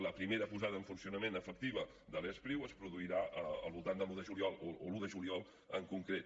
la primera posada en funcionament efectiva de l’e spriu es produirà al voltant de l’un de juliol o l’un de juliol en concret